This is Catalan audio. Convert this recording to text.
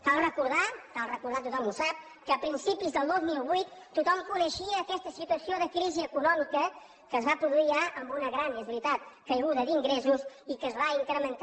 cal recordar cal recordar ho i tothom ho sap que a principis del dos mil vuit tothom coneixia aquesta situació de crisi econòmica que es va produir ja amb una gran és veritat caiguda d’ingressos i que es va incrementar